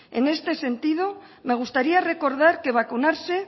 en este sentido me gustaría recordar que vacunarse